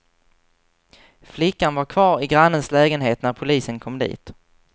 Flickan var kvar i grannens lägenhet när polisen kom dit.